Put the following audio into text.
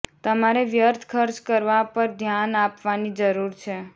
તમારે વ્યર્થ ખર્ચ કરવા પર ધ્યાન આપવાની જરૂર છે